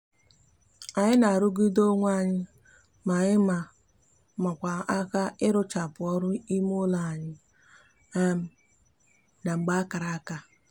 anyi n'arugide onwe anyi ma anyi ma makwa aka iruchapu oru ime ulo anyi um na mgbe akara aka